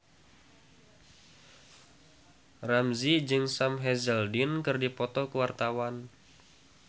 Ramzy jeung Sam Hazeldine keur dipoto ku wartawan